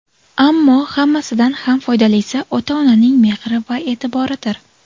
Ammo hammasidan ham foydalisi ota-onaning mehri va e’tiboridir.